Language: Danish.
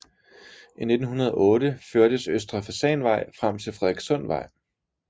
I 1908 førtes Østre Fasanvej frem til Frederikssundsvej